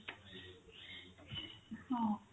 ହଁ